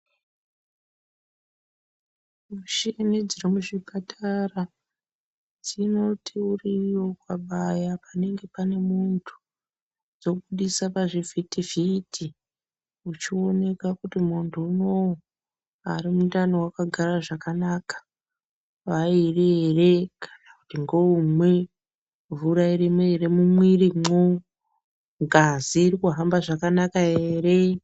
Mushini dziri muzvipatara dzinoti uriiyo ukabaya panenge pane muntu dzobudisa pachivhitivhiti uchioneka kuti munhu unou ari mundani wakagare zvakanaka vairi ere kana kuti ngeumwe, mvura irimwo ere mumwirimwo ngazi irikuhamba zvakanaka ere?